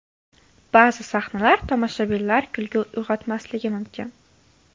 Ba’zi sahnalar tomoshabinlar kulgi uyg‘otmasligi mumkin.